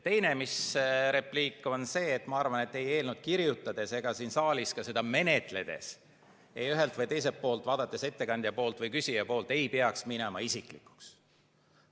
Teine repliik on see, et ma arvan, et ei eelnõu kirjutades ega ka siin saalis seda menetledes, ühelt või teiselt poolt vaadates, ettekandja poolt või küsija poolt, ei peaks minema isiklikuks.